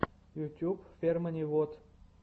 ютьюб фермани вот